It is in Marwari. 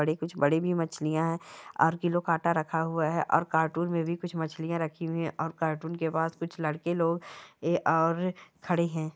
बड़े कुछ बड़े भी मछलिया है और किलो का काटा रखा हुआ है और कार्टून मे भी कुछ मछलियाँ रखी हुई है और कार्टून के बाहर कुछ लड़के लोग और खड़े है।